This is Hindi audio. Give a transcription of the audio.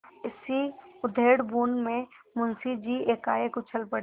इसी उधेड़बुन में मुंशी जी एकाएक उछल पड़े